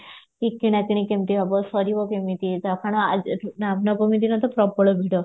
କି କିଣା କିଣି କେମିତି ହବ ସରିବ କେମିତି ନବମୀ ଦିନ ତ ପ୍ରବଳ ଭିଡ